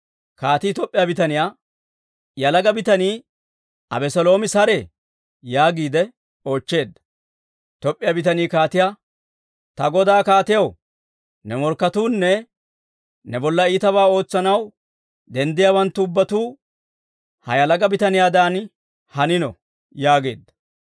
Kaatii Toop'p'iyaa bitaniyaa, «Yalaga bitanii Abeseeloomi saree?» yaagiide oochcheedda. Toop'p'iyaa bitanii kaatiyaa, «Ta godaw kaatiyaw, ne morkketuunne ne bolla iitabaa ootsanaw denddiyaawanttu ubbatuu he yalaga bitaniyaadan hanino» yaageedda.